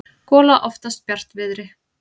gola oftast bjartviðri.